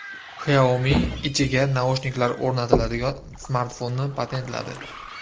Xiaomi ichiga naushniklar o‘rnatiladigan smartfonni patentladi.